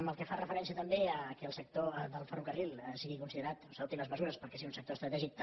pel que fa referència també que el sector del ferrocarril sigui considerat o s’adoptin les mesures perquè sigui un sector estratègic també